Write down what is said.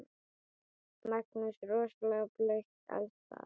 Magnús: Rosalega blautt alls staðar?